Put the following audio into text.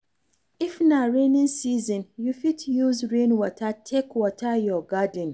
If na rainy season, you fit use rain water take water your garden